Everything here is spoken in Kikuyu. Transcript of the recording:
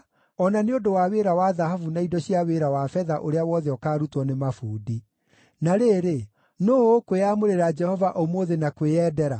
o na nĩ ũndũ wa wĩra wa thahabu na indo cia wĩra wa betha ũrĩa wothe ũkaarutwo nĩ mabundi. Na rĩrĩ, nũũ ũkwĩĩamũrĩra Jehova ũmũthĩ na kwĩyendera?”